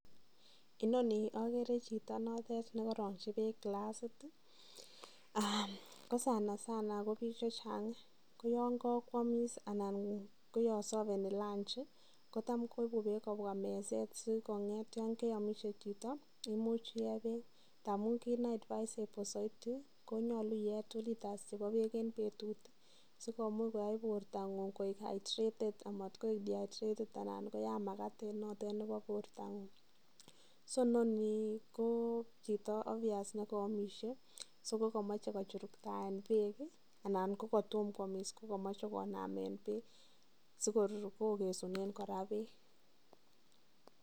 Inoni okere chito notet niko rongi bek kilasit kosanasana kobik chechang koyang kakwamis anan koyan safeni lunji kotam koibu bek kobwa meset sikonyet yan keyamishe chito imuchi iye bek amun kit ne advisable saiti koyache iye two liters chebo bek en betut sikoyai borto ngung koik hydrated amatkoik dihydrated anan koyan mabat koiko en borto ngung so noni kochito ovious ko chito nikoyomishe so kokomache kochuruktoyen bek anan kokatomo koyamis komache konamen bek sikor kora kokesunen bek